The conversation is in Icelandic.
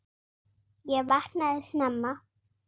Ég vaknaði snemma.